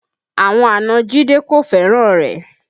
Àwọn àna Jide kò fẹ́ràn rẹ̀